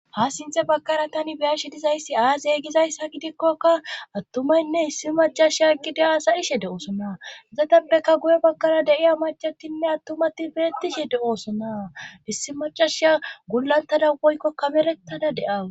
ha sinthe bagkara tani beyashi dizayssi aaziyegizayssa gidikkoka attumaynne issi macasha eqide asayishe de7oosona zatappeka guye bagkara deiya macatinne attumati beettishe de7oosona issi macashsa gulantada woykkokkamerettada deawu